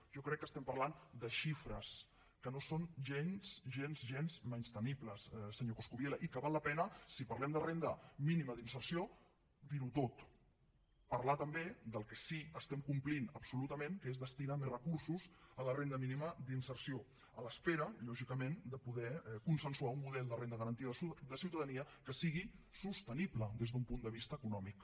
jo crec que estem parlant de xifres que no són gens gens gens menyspreables senyor coscubiela i que val la pena si parlem de renda mínima d’inserció dir ho tot parlar també del que sí que estem complint absolutament que és destinar més recursos a la renda mínima d’inserció en espera lògicament de poder consensuar un model de renda garantida de ciutadania que sigui sostenible des d’un punt de vista econòmic